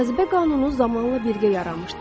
Cazibə qanunu zamanla birgə yaranmışdı.